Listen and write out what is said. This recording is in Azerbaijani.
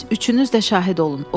Siz üçünüz də şahid olun.